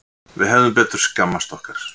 Við hefðum betur skammast okkar.